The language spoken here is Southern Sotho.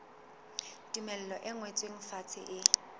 tumello e ngotsweng fatshe e